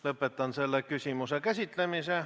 Lõpetan selle küsimuse käsitlemise.